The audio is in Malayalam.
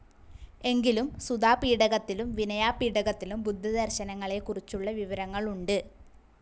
എങ്കിലും സുതാപീഠകത്തിലും വിനയാപീഠകത്തിലും ബുദ്ധ ദർശനങ്ങളെ കുറിച്ചുള്ള വിവരങ്ങൾ ഉണ്ട്.